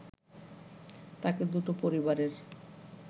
তাকে দুটো পরিবারের